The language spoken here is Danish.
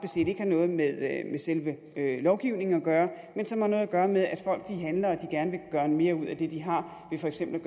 noget med selve lovgivningen at gøre men som har noget at gøre med at folk handler og gerne vil gøre mere ud af det de har ved for eksempel